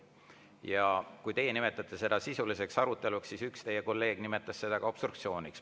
Ja kui teie nimetasite seda sisuliseks aruteluks, siis üks teie kolleeg nimetas seda obstruktsiooniks.